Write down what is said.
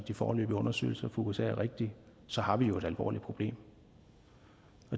de foreløbige undersøgelser fra usa er rigtige så har vi jo et alvorligt problem